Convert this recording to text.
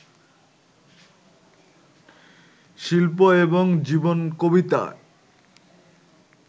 শিল্প এবং জীবন কবিতায়